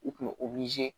U kun bɛ